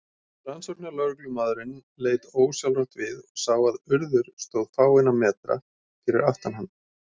Rannsóknarlögreglumaðurinn leit ósjálfrátt við og sá að Urður stóð fáeina metra fyrir aftan hann.